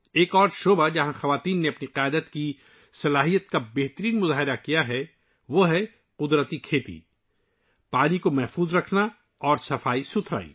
ایک اور شعبہ جہاں خواتین نے اپنی قائدانہ صلاحیت کا مظاہرہ کیا ہے ، وہ ہے قدرتی کاشتکاری، پانی کا تحفظ اور صفائی ستھرائی